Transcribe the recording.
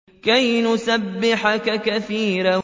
كَيْ نُسَبِّحَكَ كَثِيرًا